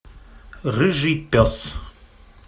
рыжий пес